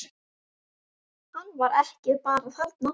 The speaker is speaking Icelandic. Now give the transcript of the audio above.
Hann var ekki bara þarna.